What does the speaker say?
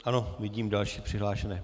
A vidím další přihlášené.